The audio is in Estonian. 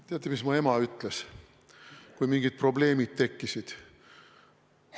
Teate, mis mu ema ütles, kui mingid probleemid tekkisid?